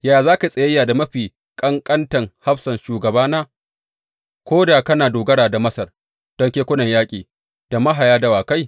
Yaya za ka yi tsayayya da mafi ƙanƙantan hafsan shugabana, ko da kana dogara da Masar don kekunan yaƙi da mahaya dawakai?